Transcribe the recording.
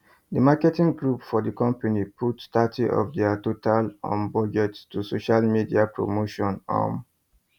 the marketing group for the company put thirty of their total um budget to social media promotion um